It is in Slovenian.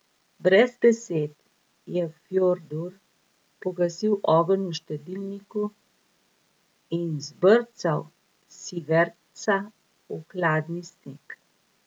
Brez besed je Fjordur pogasil ogenj v štedilniku in zbrcal Sivertsa v hladni sneg.